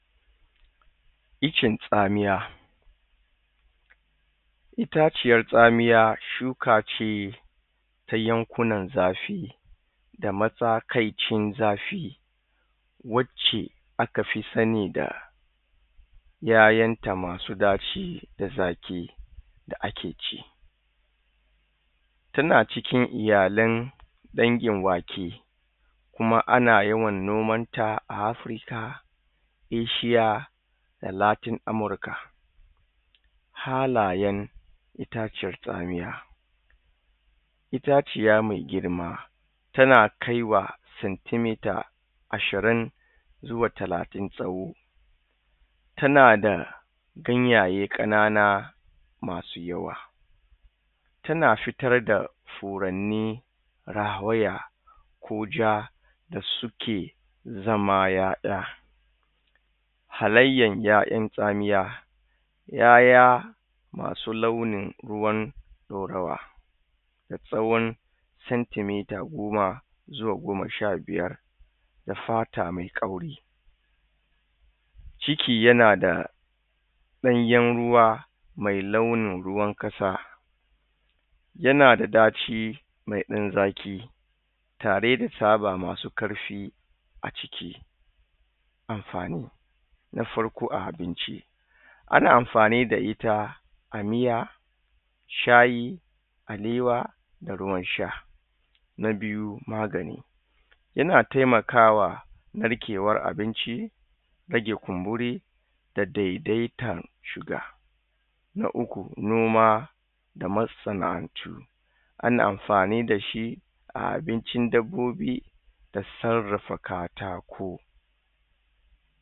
Iccen tsamiya, itaciyan tsamiya shuka ce ta yankunan zafi da matsakaicin zafi wacce aka fi sani da ƴaƴan ta masu zafi da zaƙi da ake ci, tana cikin iyalan dangin wake ana yawan nomanta ya yankunan Afrika, Asia da Latin Amurka. Halayen itaciyan tsamiya, itaciya mai girma tana kai wa centimetre ashirin zuwa talatin tsawo tana da ganyaye ƙanana masu yawa tana fitar da furanni rawaya ko ja da suke zama ƴaƴa. Halayyan ƴaƴan tsamiya, ƴaƴa masu launin ruwan ɗorawa, da tsawon centimetre goma zuwa goma sha biyar da fata mai kauri ciki yana da ɗanyen ruwa mai launin ruwan kasa. Yana ɗaci mai ɗan zaki tare da tsaba masu ƙarfi a ciki. Amfani, na farko a abinci. Ana amfani da shi a miya, shayi, alewa da ruwan sha. Na biyu magani, yana taimakawa narkewan abinci, rage kumburi, daidaita sugar. Na uku noma da masanaʼantu, ana amfani da shi a abincin dabbobi da sarrafa katako.